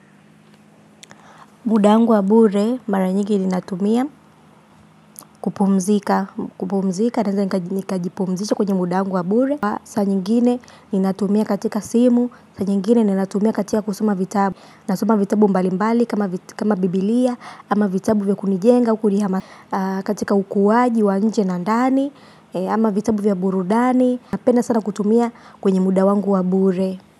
Muda wangu wa bure mara nyingi ninatumia kupumzika, kupumzika naeza nikajipumzisha kwenye muda wangu wa bure. Saa nyingine ninatumia katika simu, saa nyingine ninatumia katika kusoma vitabu. Nasoma vitabu mbalimbali kama biblia, ama vitabu vya kunijenga, kunihama. Katika ukuaji wa nje na ndani, ama vitabu vya burudani. Napenda sana kutumia kwenye muda wangu wa bure.